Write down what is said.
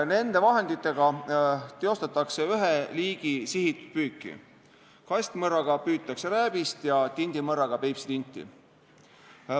Nende vahenditega teostatakse ühe liigi sihitud püüki: kastmõrraga püütakse rääbist ja tindimõrraga Peipsi tinti.